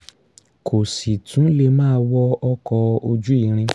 kó sì tún lè máa wọ ọkọ̀ ojú irin